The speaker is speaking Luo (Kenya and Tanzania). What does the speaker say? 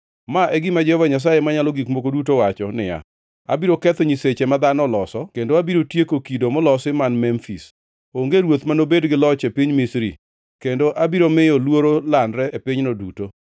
“ ‘Ma e gima Jehova Nyasaye Manyalo Gik Moko Duto wacho niya, “ ‘Abiro ketho nyiseche ma dhano oloso kendo abiro tieko kido molosi man Memfis. Onge ruoth ma nobed gi loch e piny Misri, kendo abiro miyo luoro landre e pinyno duto.